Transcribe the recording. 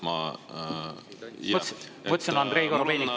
Ma ütlesin, et Andrei Korobeinik, palun.